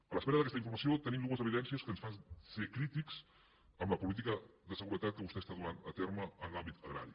a l’espera d’aquesta informació tenim dues evidències que ens fan ser crítics amb la política de seguretat que vostè està duent a terme en l’àmbit agrari